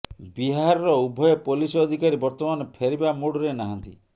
ବିହାରର ଉଭୟ ପୋଲିସ ଅଧିକାରୀ ବର୍ତ୍ତମାନ ଫେରିବା ମୁଡ୍ ରେ ନାହାଁନ୍ତି